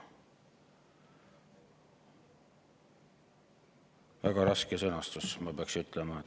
" Väga raske sõnastus, ma peaks ütlema.